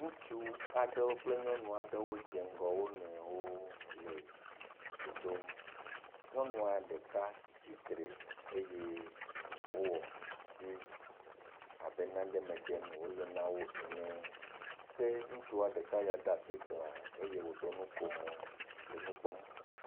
ŋutsu aɖewo kple nyɔnu aɖewo dze ŋgɔ wo nɔewo le dze ɖom nyɔŋua ɖeka tsitre eye wó wɔ asi. abe naɖe me ɖem wóle nawo ene ke ŋutsua ɖeka ya ɖa'si glã eye woɖɔ nɔkomò henɔ nukpɔm